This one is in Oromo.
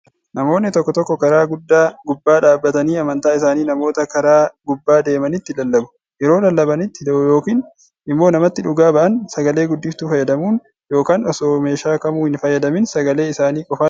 Namoonni tokko tokko karaa guddaa gubbaa dhaabbatanii amantaa isaanii namoota karaa gubbaa deemanitti lallabu. Yeroo lallabanaitti yookiin immoo namatti dhugaa ba'an, sagalee guddiftuu fayyadamuun, yookaan osoo meeshaa kamuu hin fayyadamiin sagalee isaanii qofaan lallabu.